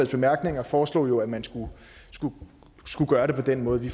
bemærkninger foreslog jo at man skulle gøre det på den måde vi